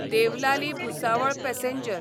Deolali Bhusawal passenger